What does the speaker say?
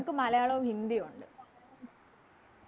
ഞങ്ങക്ക് മലയാളോ ഹിന്ദിയു ഉണ്ട്